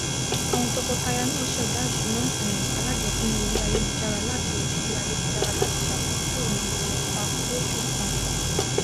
àwọn tọkọtaya náà ṣèdá ìṣúná um alájọpín orí ayélujára latí orí ayélujára latí sàmójútó ìnáwó wọn pap losù kọọkan